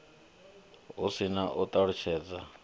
hu si na u ṱalutshedza